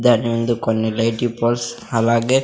దాని ముందు కొన్ని లైటీ పోల్స్ అలాగే --